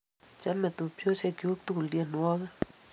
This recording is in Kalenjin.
Chame tupchosyek chuk tukul tyenwogik